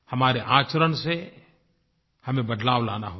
हमारे आचरण से हमें बदलाव लाना होगा